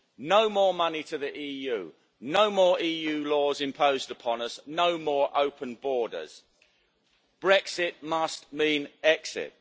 no more money to the EU, no more EU laws imposed upon us, no more open borders. Brexit must mean exit.